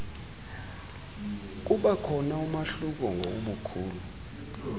kubakhona umahluko ngobukhulu